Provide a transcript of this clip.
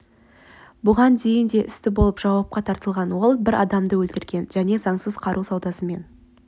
бұған дейін де істі болып жауапқа тартылған ол бір адамды өлтірген және заңсыз қару саудасымен